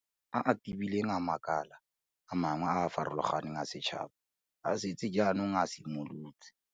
A a tebileng a makala a mangwe a a farologaneng a setšhaba a setse jaanong a simolotse.